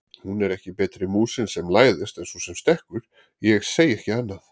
Hún er ekki betri músin sem læðist en sú sem stekkur, ég segi ekki annað!